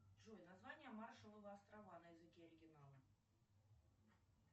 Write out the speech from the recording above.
джой название маршалловы острова на языке оригинала